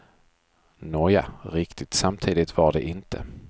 Nåja, riktigt samtidigt var det inte.